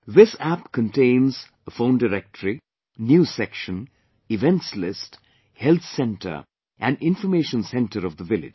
This App contains phone directory, News section, events list, health centre and information centre of the village